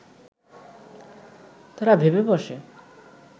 তারা ভেবে বসে